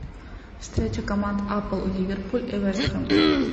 встреча команд апл ливерпуль и вест хэм